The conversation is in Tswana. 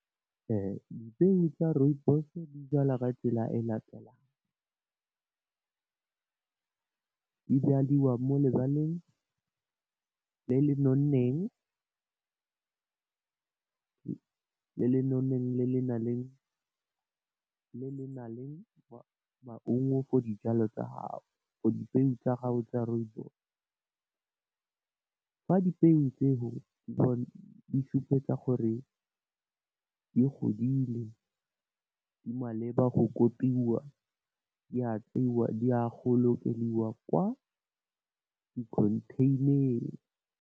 Dipeo tsa Rooibos di jalwa ka tsela e latelang, di jaliwa mo lebaleng le le nonneng le lenang le maungo for dijalo tsa gago for dipeo tsa gago tsa Rooibos fa dipeo tseo di supetsa gore di godile di maleba go kopiwa di apeiwa di a go lo okediwa kwa di contain-eng.